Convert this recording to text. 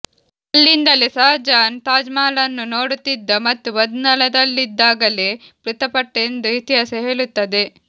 ಅಲ್ಲಿಂದಲೇ ಶಾಜಹಾನ್ ತಾಜಮಹಲನ್ನು ನೋಡುತ್ತಿದ್ದ ಮತ್ತು ಬಂಧನದಲ್ಲಿದ್ದಾಗಲೇ ಮೃತಪಟ್ಟಎಂದು ಇತಿಹಾಸ ಹೇಳುತ್ತದೆ